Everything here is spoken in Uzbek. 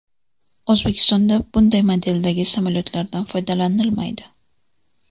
O‘zbekistonda bunday modeldagi samolyotlardan foydalanilmaydi.